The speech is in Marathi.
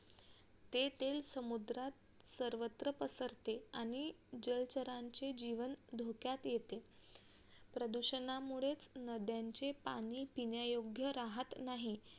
ते तेल समुद्रात सर्वत्र पसरते आणि जलचरांचे जीवन धोक्यात येते प्रदूषणामुळेच नद्यांचे पाणी पिण्यायोग्य राहत नाही